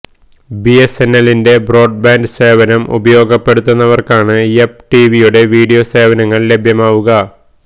ബിഎസ്എൻഎല്ലിന്റെ broadband സേവനം ഉപയോഗപ്പെടുത്തുന്നവർക്കാണ് Yupp ടിവിയുടെ വീഡിയോ സേവനങ്ങൾ ലഭ്യമാവുക